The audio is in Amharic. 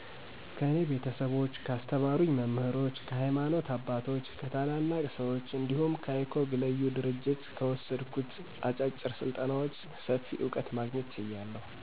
ከኔ ቤተሰቦች፣ ካስተማሩኝ መምህሮች፣ ከሀይማኖተ አባቶች፣ ከታላላቅ ሰወች እንዲሁም icog(leyu